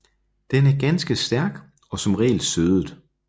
Den er ganske stærk og som regel sødet